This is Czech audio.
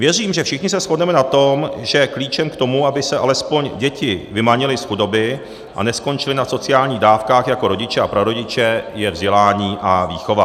Věřím, že všichni se shodneme na tom, že klíčem k tomu, aby se alespoň děti vymanily z chudoby a neskončily na sociálních dávkách jako rodiče a prarodiče, je vzdělání a výchova.